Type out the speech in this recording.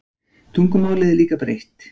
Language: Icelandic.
Tungumálið er lítt breytt.